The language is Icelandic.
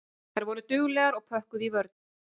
Þær voru duglegar og pökkuðu í vörn.